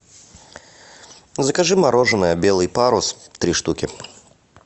закажи мороженое белый парус три штуки